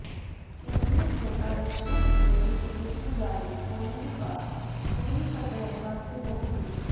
केंद्र्र से आरक्षण की नोटीफिकेशन जारी होने के बाद पूरी फतेह हासिल होगी